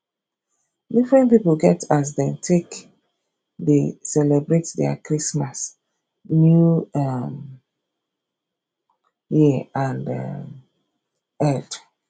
different pipo get as dem take de celebrate their christmas new um year and um eid